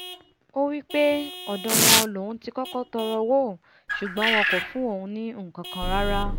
ó wípé ọ̀dọ̀ wọn lòun ti kọ́kọ́ tọọrọ owó ṣùgbọ́n wọn kò fún òun ní nkankan rara